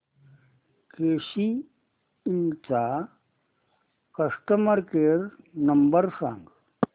केसी इंड चा customer care number सांग